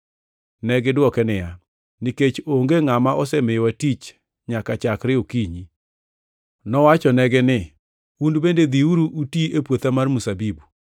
Negidwoke niya, “ ‘Nikech onge ngʼama osemiyowa tich nyaka chakre okinyi.’ “Nowachonegi ni, ‘Un bende dhiuru uti e puotha mar mzabibu.’